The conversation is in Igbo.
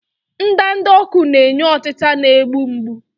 Ndanda ọkụ na-enye ọtita na-egbu mgbu.